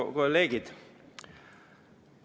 Head kolleegid!